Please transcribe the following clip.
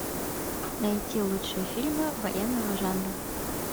найти лучшие фильмы военного жанра